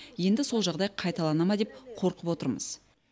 енді сол жағдай қайталана ма деп қорқып отырмыз